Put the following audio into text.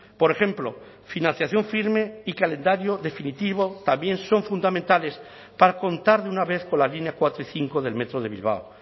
por ejemplo financiación firme y calendario definitivo también son fundamentales para contar de una vez con la línea cuatro y cinco del metro de bilbao